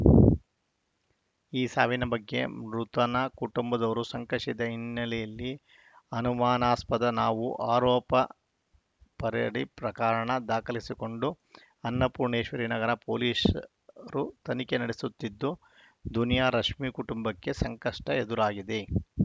ಈ ಸಾವಿನ ಬಗ್ಗೆ ಮೃತನ ಕುಟುಂಬದವರು ಶಂಕಿಸಿದ ಹಿನ್ನೆಲೆಯಲ್ಲಿ ಅನುಮಾನಾಸ್ಪದ ನಾವು ಆರೋಪ ಪರೆಯಡಿ ಪ್ರಕರಣ ದಾಖಲಿಸಿಕೊಂಡು ಅನ್ನಪೂಣೇಶ್ವರಿ ನಗರ ಠಾಣೆ ಪೊಲೀಸರು ತನಿಖೆ ನಡೆಸುತ್ತಿದ್ದು ದುನಿಯಾ ರಶ್ಮಿ ಕುಟುಂಬಕ್ಕೆ ಸಂಕಷ್ಟಎದುರಾಗಿದೆ